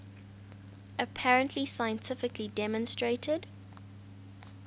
apparently scientifically demonstrated